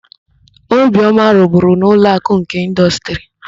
Obiọma rụburu na Ụlọakụ nke Ịndọstrị.